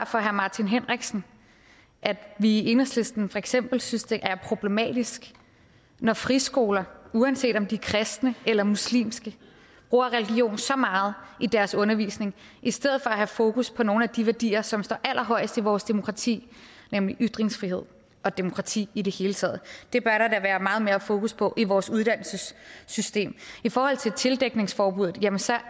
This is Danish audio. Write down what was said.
for herre martin henriksen at vi i enhedslisten for eksempel synes det er problematisk når friskoler uanset om de er kristne eller muslimske bruger religion så meget i deres undervisning i stedet for at have fokus på nogle af de værdier som står allerhøjest i vores demokrati nemlig ytringsfriheden og demokrati i det hele taget det bør der da være meget mere fokus på i vores uddannelsessystem tildækningsforbuddet